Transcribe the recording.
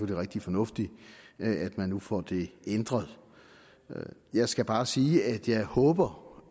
rigtig fornuftigt at man nu får det ændret jeg skal bare sige at jeg håber